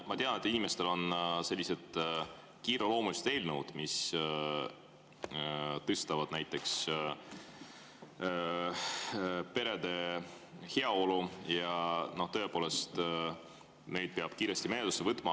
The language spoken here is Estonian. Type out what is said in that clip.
Ma tean, et inimestel on sellised kiireloomulised eelnõud, mis parandavad näiteks perede heaolu, ja tõepoolest, need peab kiiresti menetlusse võtma.